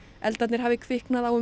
eldarnir hafi kviknað á